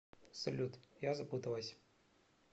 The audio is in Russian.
салют я запуталась